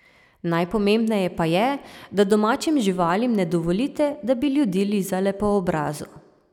Najpomembneje pa je, da domačim živalim ne dovolite, da bi ljudi lizale po obrazu.